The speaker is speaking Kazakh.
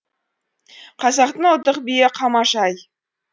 қазақтың ұлттық биі қамажай